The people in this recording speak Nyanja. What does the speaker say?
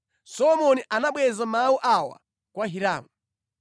Solomoni anabweza mawu awa kwa Hiramu: